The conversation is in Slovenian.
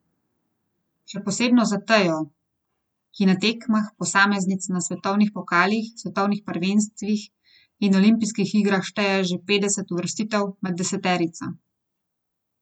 Še posebno za Tejo, ki na tekmah posameznic na svetovnih pokalih, svetovnih prvenstvih in olimpijskih igrah šteje že petdeset uvrstitev med deseterico.